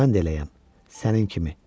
Mən də eləyəm sənin kimi.